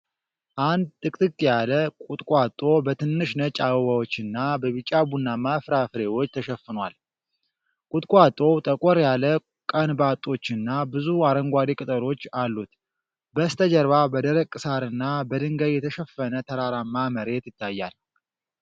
አንድ ጥቅጥቅ ያለ ቁጥቋጦ በትንሽ ነጭ አበባዎችና በቢጫ-ቡናማ ፍራፍሬዎች ተሸፍኗል። ቁጥቋጦው ጠቆር ያለ ቀንበጦችና ብዙ አረንጓዴ ቅጠሎች አሉት። በስተጀርባ በደረቅ ሣርና በድንጋይ የተሸፈነ ተራራማ መሬት ይታያል።